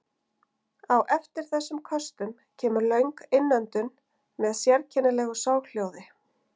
Á eftir þessum köstum kemur löng innöndun með sérkennilegu soghljóði.